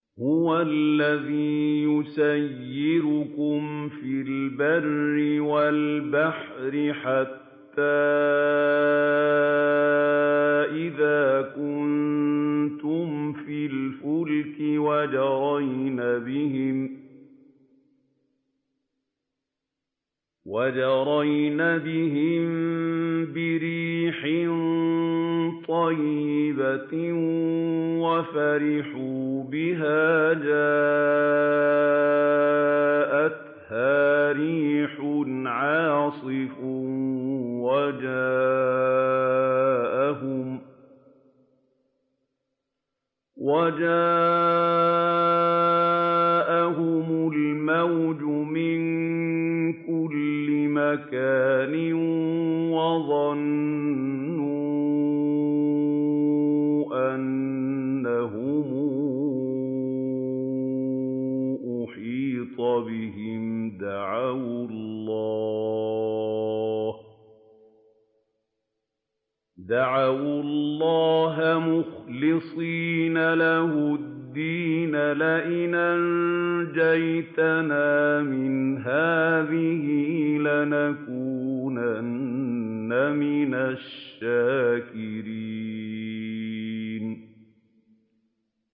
هُوَ الَّذِي يُسَيِّرُكُمْ فِي الْبَرِّ وَالْبَحْرِ ۖ حَتَّىٰ إِذَا كُنتُمْ فِي الْفُلْكِ وَجَرَيْنَ بِهِم بِرِيحٍ طَيِّبَةٍ وَفَرِحُوا بِهَا جَاءَتْهَا رِيحٌ عَاصِفٌ وَجَاءَهُمُ الْمَوْجُ مِن كُلِّ مَكَانٍ وَظَنُّوا أَنَّهُمْ أُحِيطَ بِهِمْ ۙ دَعَوُا اللَّهَ مُخْلِصِينَ لَهُ الدِّينَ لَئِنْ أَنجَيْتَنَا مِنْ هَٰذِهِ لَنَكُونَنَّ مِنَ الشَّاكِرِينَ